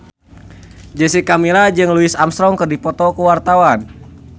Jessica Milla jeung Louis Armstrong keur dipoto ku wartawan